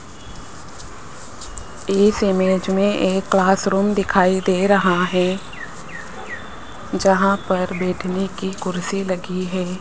इस इमेज में एक क्लास रूम दिखाई दे रहा है जहां पर बैठने की कुर्सी लगी है।